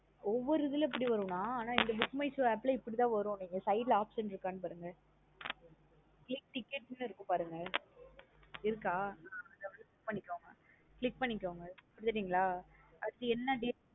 ஒவ்வொரு இதுல இப்டி வரும் நா அனா இந்த Book my show app லா இப்டி தன் வரும் நீங்க side ல option இருக்கான்னு பாருங்க. Click ticket னு இருக்க பாருங்க இருக்க click பண்ணிகோங்க பண்ணிடீங்கள அடுத்து என்ன date